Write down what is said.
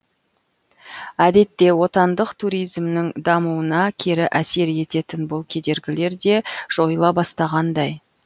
әдетте отандық туризмнің дамуына кері әсер ететін бұл кедергілер де жойыла бастағандай